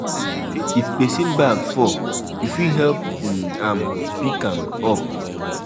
if pesin bag fall you fit help um am pick um am up.